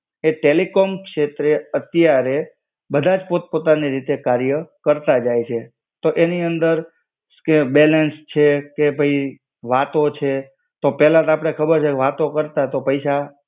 એ telecom શેત્રે અત્યારે બધાજ પોત પોતાની રીતે કાર્ય કરતા જાય છે. તો એની અંદર. કે બેલેન્સ છે કે ભઈ વાતો છે. તો પેલા તા અપડે ખબર છે કે વાતો કરતા તો પૈસા